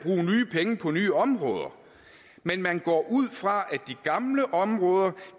penge på nye områder men man går ud fra at de gamle områder